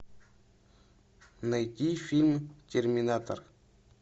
найди фильм терминатор